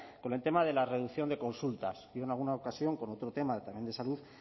con el tema de la reducción de consultas yo en alguna otra ocasión con otro tema también de salud